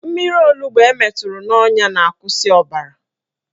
Mmiri onugbo emeturu n'ọnya na-akwụsị ọbara